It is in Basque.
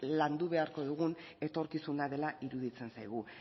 landu beharko dugun etorkizuna dela iruditzen zaigu